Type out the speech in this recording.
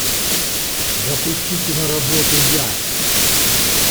запусти киноработу я